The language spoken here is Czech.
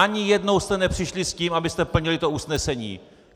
Ani jednou jste nepřišli s tím, abyste plnili to usnesení!